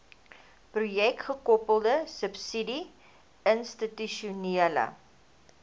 projekgekoppelde subsidie institusionele